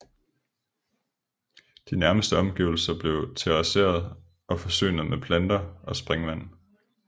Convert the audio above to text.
De nærmeste omgivelser blev terrasseret og forsynet med planter og springvand